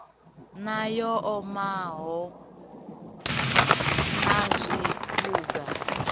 na yo omaho na zwiphuga